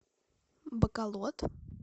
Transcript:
баколод